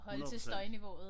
100 procent